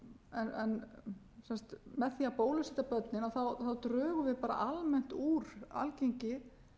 en með því að bólusetja börnin drögum við bara almennt úr algengi